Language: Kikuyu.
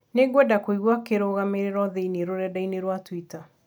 Nĩngwenda kũiga kĩrũgamĩrĩro thĩinĩ rũrenda - ĩni rũa tũita